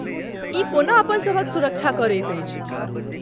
ई कोना अपन सभक सुरक्षा करैत अछि?